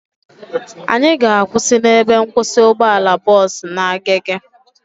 Anyị ga-akwụsị n'ebe nkwụsị ụgbọala bọọsu na Agege